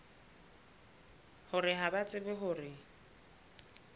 hore ha ba tsebe hore